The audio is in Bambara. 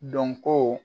Dɔnko